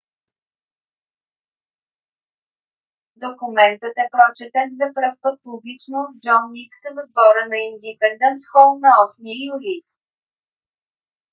документът е прочетен за пръв път публично от джон никсъ в двора на индипендънс хол на 8 юли